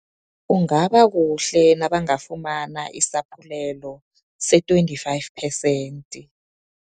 Kungaba kuhle, nabangafumana isaphulelo se-twenty-five percent.